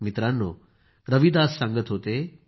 मित्रांनो रविदास सांगत होते